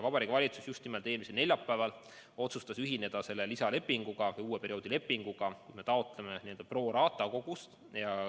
Vabariigi Valitsus just nimelt eelmisel neljapäeval otsustas ühineda selle lisalepinguga, uue perioodi lepinguga, kus me taotleme pro rata kogust.